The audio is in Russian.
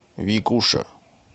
викуша